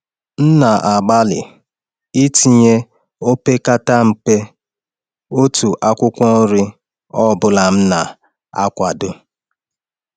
M na-agbalị itinye opekata mpe otu akwụkwọ nri na nri ọ bụla m na-akwado.